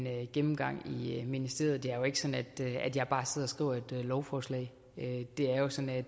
gennemgang i i ministeriet det er jo ikke sådan at jeg bare sidder og skriver et lovforslag det er jo sådan at